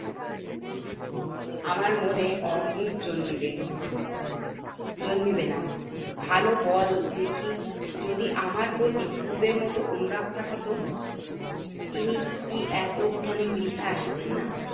আমার মনে অম্মুখ জন্মিবে। জন্মিবে না ভালো বল দেখি যদি আমার প্রতি পূর্বের মতো অনুরাগ থাকে তো তিনি কি এতক্ষনে গৃহে আসিবেন না?